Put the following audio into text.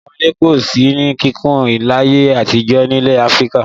Àwọn ilé kò sí ní kíkùn láyé àtijọ́ nílẹ̀ Áfíríkà.